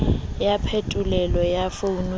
ya phetolelo ya founu ya